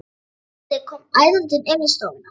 Tóti kom æðandi inn í stofuna.